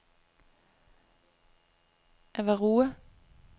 Avarua